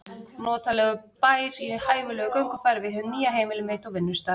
Notalegur bær í hæfilegu göngufæri við hið nýja heimili mitt og vinnustað.